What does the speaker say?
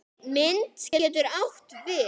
Mynd getur átt við